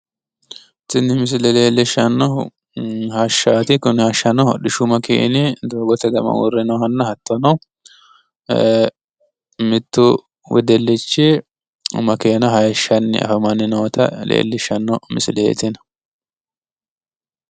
Tini misile leellishshannohu hashshaati kuni hashshano hodishshu makeeni doogote gama uurre noohanna hattono ee, mittu wedellichi makeena hayiishshanni afamanninoota leellishshanno misileeti Tini.